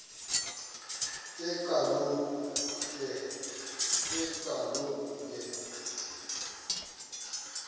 ke kaloku ke